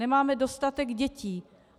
Nemáme dostatek dětí.